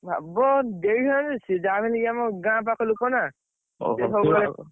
ଭାବ ଦେଇଥାନ୍ତିଯେ, ସିଏ ଯାହାବି ହେଲେ ଇଏ ଆମ ଗାଁ ପାଖ ଲୋକ ନା।